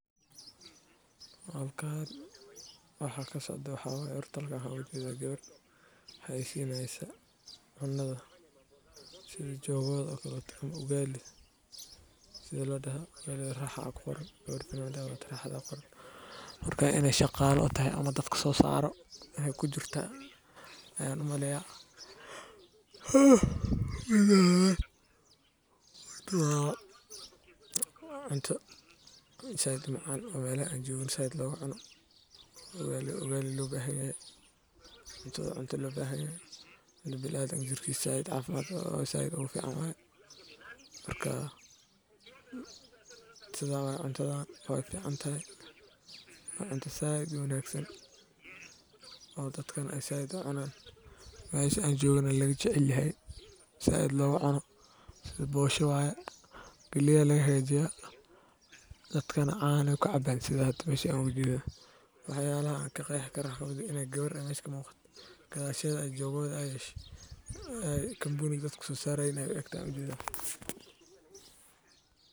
Halkani waxa kasocda wax iibinaya waa goob ganacsi oo lagu iibiyo badeecooyin kala duwan sida raashin, dhar, qalab koronto, alaab guri, iyo agab nololeed oo kale. Dukaamada noocan ah waxay muhiim u yihiin bulshada maadaama ay si joogto ah uga helaan baahiyaha nololeed ee maalinlaha ah. Waxaa jira dukaano yaryar oo xaafadaha ku yaal oo iibiyo alaab fudud sida sonkor, bariis kaso sarayin ey u egtahay.